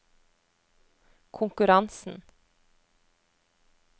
konkurransen